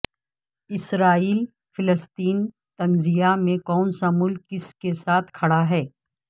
اسرائیل فلسطین تنازعے میں کون سا ملک کس کے ساتھ کھڑا ہے